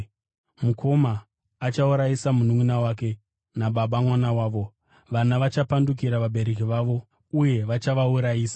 “Mukoma achaurayisa mununʼuna wake, nababa mwana wavo, vana vachapandukira vabereki vavo uye vachavaurayisa.